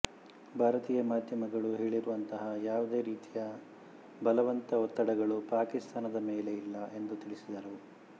ಭಾರತೀಯ ಮಾಧ್ಯಮಗಳು ಹೇಳಿರುವಂತಹ ಯಾವುದೇ ರೀತಿಯ ಬಲವಂತಒತ್ತಡಗಳು ಪಾಕಿಸ್ತಾನದ ಮೇಲೆ ಇಲ್ಲ ಎಂದು ತಿಳಿಸಿದರು